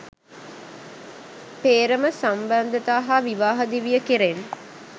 පේ්‍රම සබඳතා හා විවාහ දිවිය කෙරෙන්